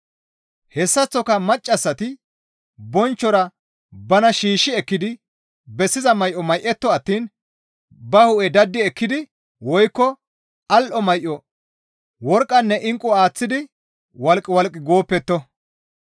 Hessaththoka maccassati bonchchora bana shiishshi ekkidi bessiza may7o may7etto attiin ba hu7e daddi ekkidi woykko al7o may7o, worqqanne inqqu aaththidi walqqi walqqi gooppetto.